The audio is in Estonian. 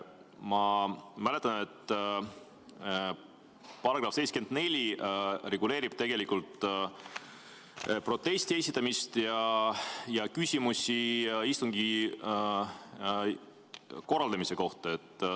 Ma mäletan, et § 74 reguleerib tegelikult protesti esitamist ja küsimusi istungi korraldamise kohta.